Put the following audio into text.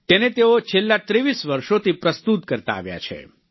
તેને તેઓ છેલ્લા 23 વર્ષોથી પ્રસ્તુત કરતા આવ્યા છે